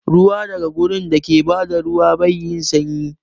Ruwa daga wurin dake bada ruwa bai da sanyi